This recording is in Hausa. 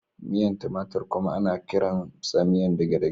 Miyan tumatir kuma ana kiransa miyan dagedage.